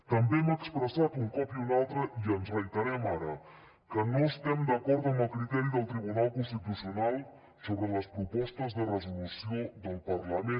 també hem expressat un cop i un altre i ens reiterem ara que no estem d’acord amb criteri del tribunal constitucional sobre les propostes de resolució del parlament